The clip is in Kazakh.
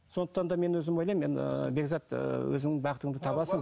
сондықтан да мен өзім ойлаймын енді ыыы бекзат ыыы өзің бақытыңды табасың